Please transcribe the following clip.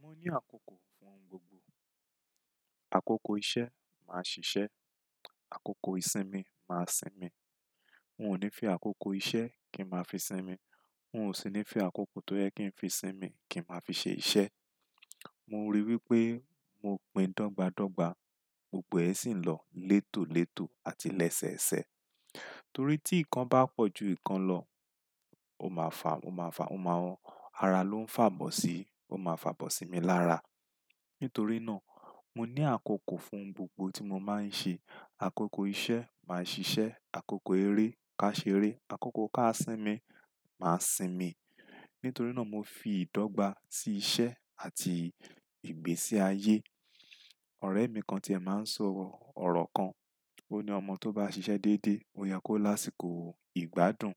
Mo ní àkókò fún ohun gbogbo. Àkókò iṣẹ́ máa ṣiṣẹ́, àkókò ìsinmi máa sinmi. N ò ní fi àkókò iṣẹ́ kí n máa fi sinmi. N ò sì ní fi àkókò tó yẹ kí n fi sinmi kí n máa fi ṣe iṣẹ́. Mo ríi wí pé mo pín dọ́gba dọ́gba, gbogbo ẹ̀ sì ń lọ létò létò àti lẹ́sẹ̀ ẹ̀sẹ̀. Torí tí nǹkan bá pọ̀ ju nǹkan lọ, ó máa fà, ó máa fà, ó máa wọ́n. Ara ló ń fàbọ̀ sí, ó máa fàbọ̀ sí mi lára. Nítorí náà, mo ní àkókò fún ohun gbogbo tí mo máa ń ṣe. Àkókò iṣẹ́ máa ṣiṣẹ́, àkókò eré ká ṣeré, àkókò ká sinmi máa sinmi. Nítorí náà mo fi ìdọ́gba sí iṣẹ́ àti ìgbésí ayé. Ọ̀rẹ́ mi kan ti è máa ń sọ ọ̀rọ̀ kan. Ó ní ọmọ tó bá ṣiṣẹ́ déédé, ó yẹ kó lásìkò ìgbádùn.